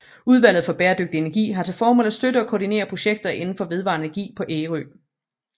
Udvalget for Bæredygtig Energi har til formål at støtte og koordinere projekter inden for vedvarende energi på Ærø